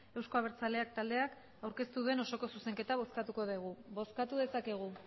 euzko abertzaleak taldeak aurkeztu duen osoko zuzenketa bozkatuko dugu bozkatu dezakegu